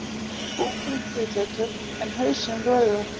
Búkurinn hvítleitur, en hausinn rauður.